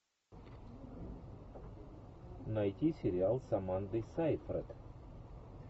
найти сериал с амандой сейфрид